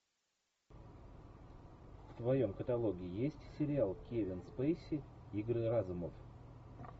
в твоем каталоге есть сериал кевин спейси игры разумов